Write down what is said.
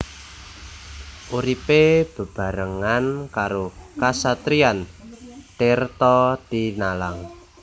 Uripé bebarengan karo Kasatriyan Tirtatinalang